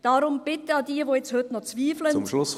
Darum eine Bitte an jene, die nun noch zweifeln: